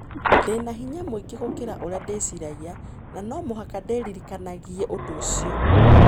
Ndĩ na hinya mũingĩ gũkĩra ũrĩa ndĩciragia, na no mũhaka ndĩririkanagie ũndũ ũcio.